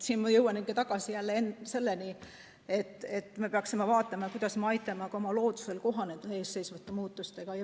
Siin ma jõuan ikka jälle tagasi selleni, et me peaksime mõtlema, kuidas me aitame loodusel kohaneda ees seisvate muutustega.